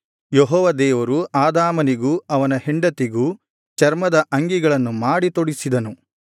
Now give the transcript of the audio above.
ಯೆಹೋವ ದೇವರು ಆದಾಮನಿಗೂ ಅವನ ಹೆಂಡತಿಗೂ ಚರ್ಮದ ಅಂಗಿಗಳನ್ನು ಮಾಡಿ ತೊಡಿಸಿದನು